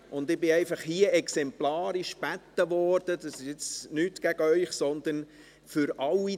Ich wurde hier einfach exemplarisch gebeten – und das ist nicht gegen Sie gerichtet, sondern für alle: